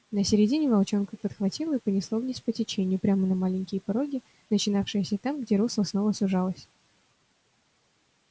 на середине волчонка подхватило и понесло вниз по течению прямо на маленькие пороги начинавшиеся там где русло снова сужалось